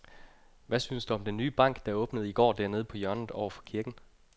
Hvad synes du om den nye bank, der åbnede i går dernede på hjørnet over for kirken?